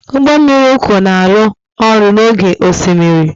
Ụgbọ mmiri uku na-arụ ọrụ n'oké osimiri.